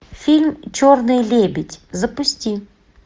фильм черный лебедь запусти